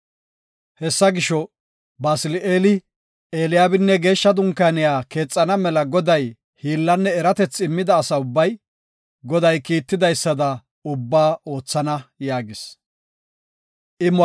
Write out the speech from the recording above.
“Hessa gisho, Basili7eeli, Eliyaabinne Geeshsha Dunkaaniya keexana mela Goday hiillanne eratethi immida asa ubbay, Goday kiitidaysada ubbaba oothana” yaagis.